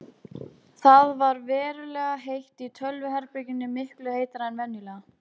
Það ver verulega heitt í tölvuherberginu, miklu heitara en venjulega.